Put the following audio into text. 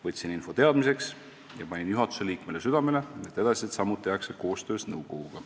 " Võtsin info teadmiseks ja panin juhatuse liikmele südamele, et edasised sammud tehtaks koostöös nõukoguga.